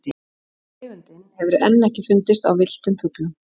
tegundin hefur enn ekki fundist á villtum fuglum